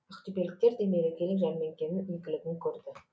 ақтөбеліктер де мерекелік жәрмеңкенің игілігін көрді